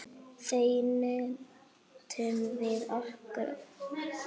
Þar nutum við okkar.